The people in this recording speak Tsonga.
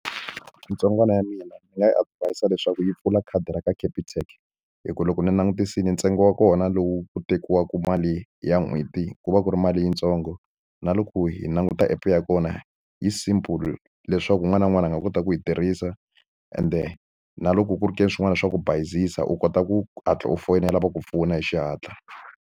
Ntsongwana ya mina ni nga yi advise leswaku yi pfula khadi ra ka Capitec hi ku loko ni langutisile ntsengo wa kona lowu ku tekiwaka mali ya n'hweti ku va ku ri mali yintsongo na loko yi hi languta app ya kona yi simple leswaku un'wana na un'wana a nga kota ku yi tirhisa ende na loko ku ri ke ni swin'wana swa ku bayizisa u kota ku hatla u foyinela ku pfuna hi xihatla.